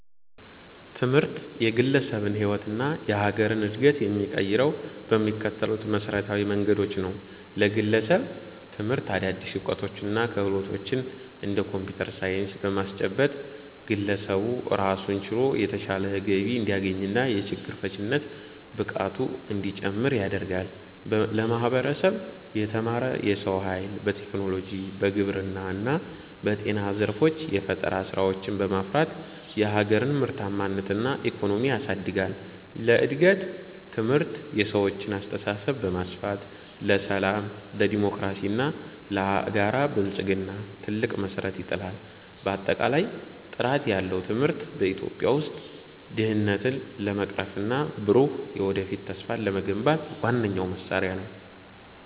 ትምህርት የግለሰብን ሕይወትና የሀገርን ዕድገት የሚቀይረው በሚከተሉት መሠረታዊ መንገዶች ነው፦ ለግለሰብ፦ ትምህርት አዳዲስ ዕውቀቶችንና ክህሎቶችን (እንደ ኮምፒውተር ሳይንስ) በማስጨበጥ፣ ግለሰቡ ራሱን ችሎ የተሻለ ገቢ እንዲያገኝና የችግር ፈቺነት ብቃቱ እንዲጨምር ያደርጋል። ለማህበረሰብ፦ የተማረ የሰው ኃይል በቴክኖሎጂ፣ በግብርና እና በጤና ዘርፎች የፈጠራ ስራዎችን በማፍራት የሀገርን ምርታማነትና ኢኮኖሚ ያሳድጋል። ለእድገት፦ ትምህርት የሰዎችን አስተሳሰብ በማስፋት፣ ለሰላም፣ ለዴሞክራሲና ለጋራ ብልጽግና ትልቅ መሠረት ይጥላል። ባጠቃላይ፣ ጥራት ያለው ትምህርት በኢትዮጵያ ውስጥ ድህነትን ለመቅረፍና ብሩህ የወደፊት ተስፋን ለመገንባት ዋነኛው መሳሪያ ነው።